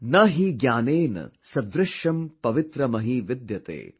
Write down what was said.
Na hi gyanen sadrishyam pavitramih vidyate